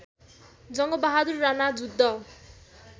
Jangbahadur Rana Juddha